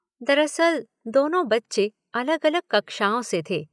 दरअसल दोनों बच्चे अलग–अलग कक्षाओं से थे।